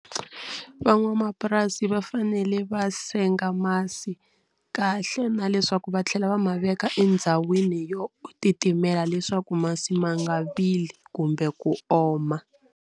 Van'wamapurasi va fanele va senga masi kahle na leswaku va tlhela va ma veka endhawini yo titimela leswaku masi ma nga vili kumbe ku oma.